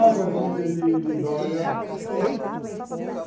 Águas de de Lindóia.